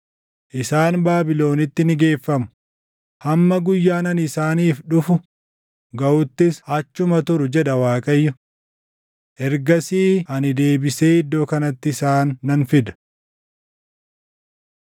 ‘Isaan Baabilonitti ni geeffamu; hamma guyyaan ani isaaniif dhufu gaʼuttis achuma turu’ jedha Waaqayyo. ‘Ergasii ani deebisee iddoo kanatti isaan nan fida.’ ”